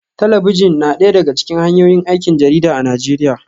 Talabijin na daya daga cikin hanyoyin aikin jarida a Najeriya